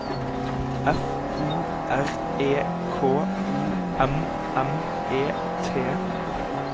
F O R E K O M M E T